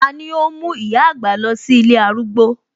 Tani óhún mú ìyá àgbà lọ sí ilé arúgbó?